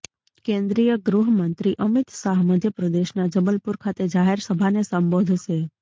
કેન્દ્રિય ગૃહમંત્રી અમિત શાહ મધ્યપ્રદેશના જબલપૂર ખાતે જાહેર સભાને સંબોધશે